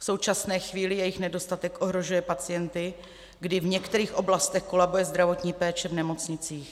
V současné chvíli jejich nedostatek ohrožuje pacienty, kdy v některých oblastech kolabuje zdravotní péče v nemocnicích.